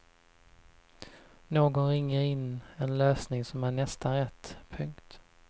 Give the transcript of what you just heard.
Någon ringer in en lösning som är nästan rätt. punkt